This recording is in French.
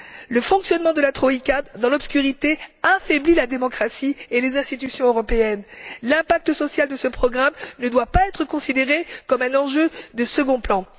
Le fonctionnement de la troïka, dans l'obscurité, affaiblit la démocratie et les institutions européennes. L'impact social de ce programme ne doit pas être considéré comme un enjeu de second plan.